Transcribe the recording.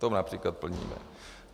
To například plníme.